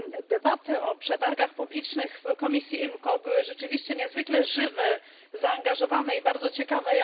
Debaty o przetargach publicznych w komisji IMCO były rzeczywiście niezwykle żywe, zaangażowane i bardzo ciekawe.